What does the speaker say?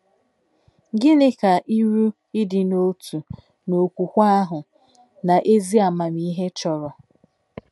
Gịnị ka iru “ ịdị n’otu ” n’okwukwe ahụ na n'ezi amamihe chọrọ?